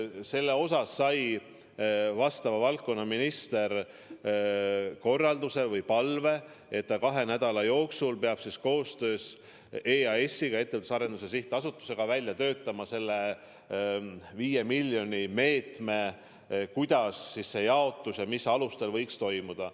Selles osas sai valdkonnaminister korralduse või palve, et ta kahe nädala jooksul peab koostöös EAS-iga, Ettevõtluse Arendamise Sihtasutusega, välja töötama 5 miljoni kasutamise meetme, kuidas see jaotus ja mis alustel võiks toimuda.